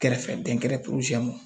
Kɛrɛfɛ dɛn kɛrɛ poroeɛ mɔ